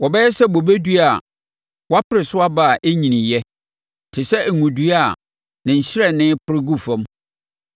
Wɔbɛyɛ sɛ bobedua a wɔapore so aba a ɛnnyiniiɛ, te sɛ ngo dua a ne nhyerɛnne repore gu fam.